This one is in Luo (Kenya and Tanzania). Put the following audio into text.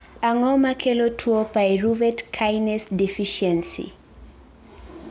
Ang'o makelo tuo pyruvate kinase deficiency?